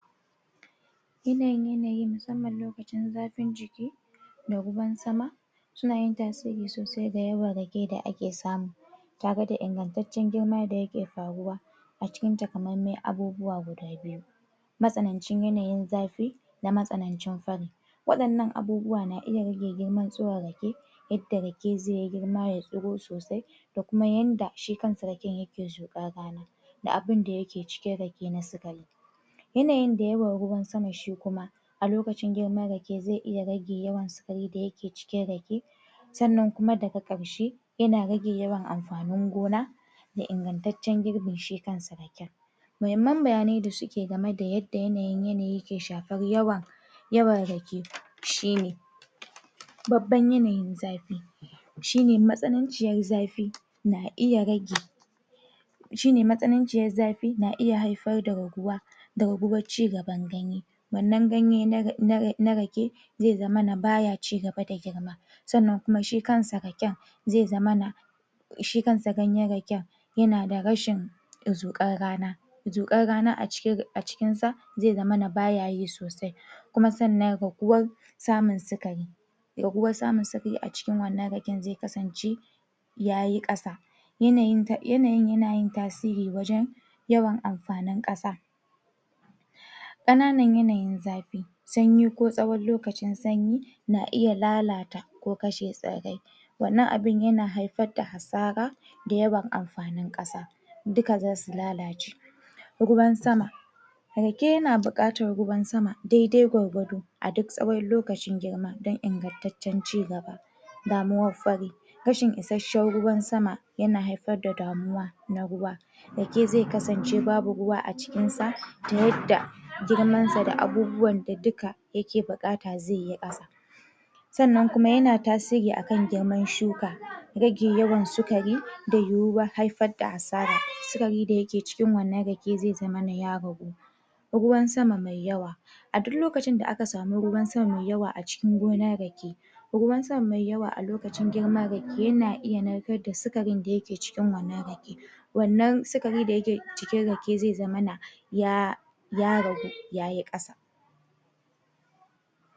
wannan yanayin masammam lokacin zafin jiki da ruwan sama yana tasiri sosai da yawan rake da ake samu tare da ingantaccen girma da yake faruwa a cikin takamaiman abubuwa guda biyu matsanancin yanayin zafi da matsanancin fari wannan abubuwa na iya girman tsuron rake duk da rake zai yi girma ya tsuro soosai da kuma yadda shi kansa raken yake cuda baya da abin da yake cikin rake na siga yanayi da yanayin ruwan sama shi kuma a lokacin girman rake zai iya rage yawan sikarin cikin rake sannan daga karshe yana rage yawan amfanin gona da ingantaccen girbin shi kansa ma himman bayane yadda suke game da yadda yanay, yanayii yake shafan yawa yawan rake shi ne babban yanayin zafi matsinanciyar zafi na iya rage mastananciyar zafi na iya haifar da raguwa da raguwar cigaban ganye wannan ganye na rake zai zamana baya cigaba da girma sannan kumai shi kansa raken zai zamana shi kansa ganyan raken yana da rashin zukan rana zukan rana a jikin sa, zai zamana baya yi sosai kuma sannan raguwar samun sikari raguwr samun sikari a cikin wannan raken zai kasan ce ya yi kasa yana yanayin yana tasir wajan yawan amfanin kasa kananan yanayin zafi sanyi ko tsawan lokacin sanyi na iya lalata, ko kashe tsirrai wannan abun yana haifar da hasara da yawan amfanin kasa, duka za su lalace rake na bukatar ruwan sama daidai gwargwado a duk tsawan lokacin girma dan ingantaccen cigaba samuwar fari rashin isasshen ruwan sama yana haifar da damuwa na ruwa rake zai kasan ce babu ruwa a cikinsa ta yadda girmansa da abubuwa da duka yake bukata zai yi gaba sannan kuma yana tasiri a kan girman shuka rage yawan sikari da yuwuwan haifar da asara sikari da yake cikin wannan rake zai zamana ya ragu ruwan sama mai yawa a duk lokacin da aka samu ruwan sama mai yawa a cikin gonan rake ruwan sama mai yawa a lokacin girman rake yana iya narkar da sikarin da yake cikin wannan rake wannan sikari da yake cikin rake zai zamana yaaa ya ragu ya yi kasa